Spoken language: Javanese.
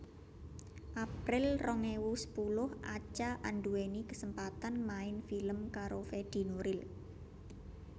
April rong ewu sepuluh Acha anduweni kesempatan main film karo Fedi Nuril